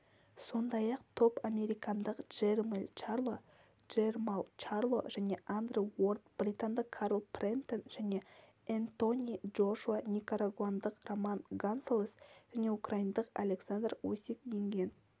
сондай-ақ топ американдық джермелл чарло джермалл чарло және андре уорд британдық карл фрэмптон және энтони джошуа никарагуандық роман гонсалес жәнеукраиндық александр усик енген